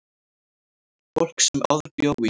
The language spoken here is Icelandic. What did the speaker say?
Fólk sem áður bjó í